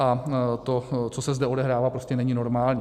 A to, co se zde odehrává, prostě není normální.